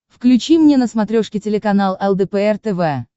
включи мне на смотрешке телеканал лдпр тв